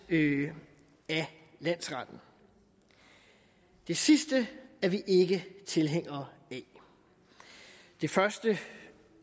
af landsretten det sidste er vi ikke tilhængere af det første